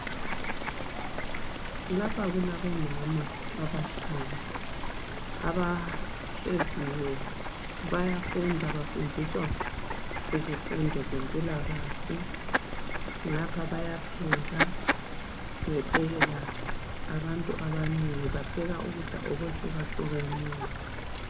Lapha kulabomama abahlanu. Abahleziyo, bayafunda, bafundiswa izifundo zemphilakahle. Ngapha bayapheka, bephekela abantu abanengi. Bapheka ukudla okuhlukahlukeneyo.